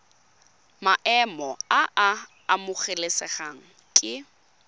maemo a a amogelesegang ke